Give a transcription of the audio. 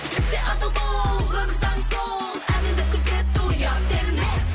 істе адал бол өмір заңы сол әділдік күзету ұят емес